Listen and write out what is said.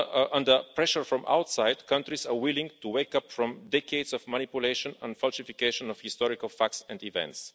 under pressure from outside that countries are willing to wake up from decades of manipulation and falsification of historical facts and events.